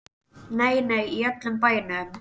Nei, nei, í öllum bænum.